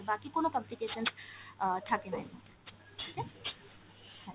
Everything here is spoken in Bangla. বাকি কোন complications অ্যাঁ থাকেনা এর মধ্যে হ্যাঁ।